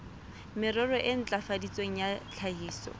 merero e ntlafaditsweng ya tlhahiso